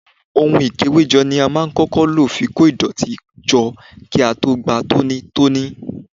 Ohun ikewejo ni a máa ń kọ́kọ́ lo fi kó ìdọ̀tí jọ kí a tó gba tónítóní.